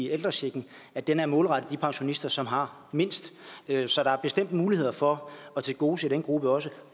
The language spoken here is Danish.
ældrechecken at den er målrettet de pensionister som har mindst så der er bestemt muligheder for at tilgodese den gruppe også